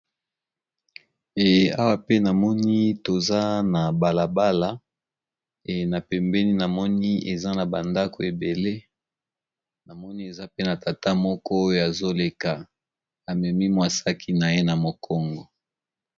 Eh awa pe namoni toza na balabala e na pembeni namoni eza na bandako ebele namoni eza pe na tata moko oyo azoleka amemi mwasaki na ye na mokongo.